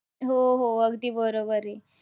हो, हो. अगदी बरोबर आहे.